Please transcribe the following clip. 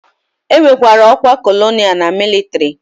E nwekwara ọkwa colonel na mịlịtrị.